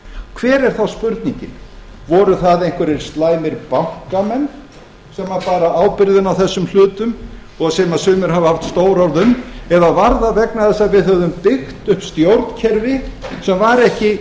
hver er þá spurningin voru það einhverjir slæmir bankamenn sem báru ábyrgðina á þessum hlutum og sem sumir hafa haft stór orð um eða var það vegna þess að við höfum byggt upp stjórnkerfi sem var ekki